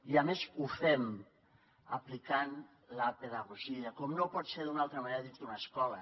i a més ho fem aplicant la pedagogia com no pot ser d’una altra manera dins d’una escola